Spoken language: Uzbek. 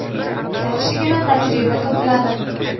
Yaxshigina tajriba to‘pladim.